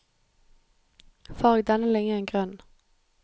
Farg denne linjen grønn